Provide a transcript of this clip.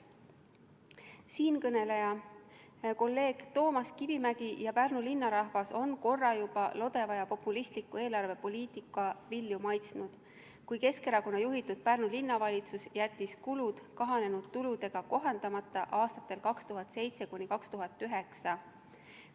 Siinkõneleja, kolleeg Toomas Kivimägi ja Pärnu linna rahvas on korra juba lodeva ja populistliku eelarvepoliitika vilju maitsnud, kui Keskerakonna juhitud Pärnu Linnavalitsus jättis aastatel 2007–2009 kulud kahanenud tuludega kohandamata.